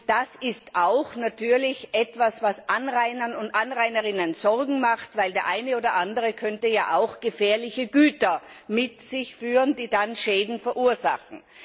Das ist natürlich auch etwas, was Anrainern und Anrainerinnen Sorgen macht, weil der eine oder andere ja auch gefährliche Güter mit sich führen könnte, die dann Schäden verursachen.